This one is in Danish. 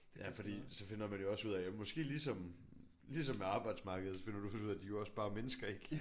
Det er fordi så finder man jo også ud af måske ligesom ligesom med arbejdsmarkedet finder du ud af at de er jo også bare mennesker ik?